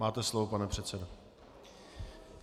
Máte slovo, pane předsedo.